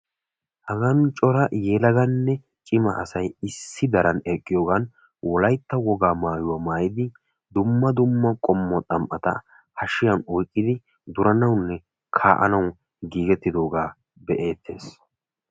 Hagan cora yelaganne cima asay wolaytta wogaa maayuwa maayiddi duranawunne kaa'anawu giigettidooga be'eetes.